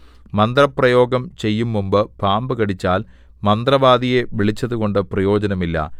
മന്ത്രപ്രയോഗം ചെയ്യും മുമ്പ് പാമ്പ് കടിച്ചാൽ മന്ത്രവാദിയെ വിളിച്ചതുകൊണ്ട് പ്രയോജനമില്ല